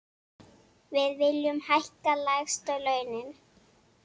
Við viljum hækka lægstu launin.